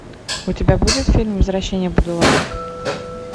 у тебя будет фильм возвращение будулая